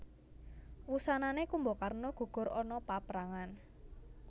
Wusanané Kumbakarna gugur ana paprangan